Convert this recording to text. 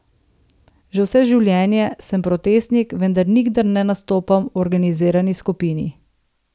Že vse življenje sem protestnik, vendar nikdar ne nastopam v organizirani skupini.